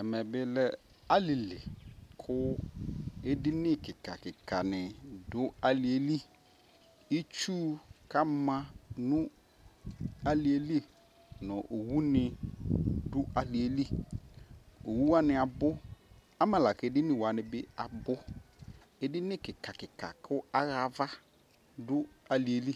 Ɛmɛbi lɛ alili ku edini kikakika ni du alieli Itsu kama nu alieliOwuni du alieliowuwania bu amɛ la kediniwani biabu edini kikakika ku awɣa avadu alieli